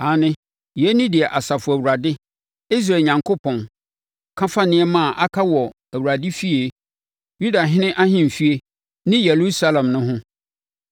Aane, yei ne deɛ Asafo Awurade, Israel Onyankopɔn, ka fa nneɛma a aka wɔ Awurade efie, Yudahene ahemfie ne Yerusalem no ho: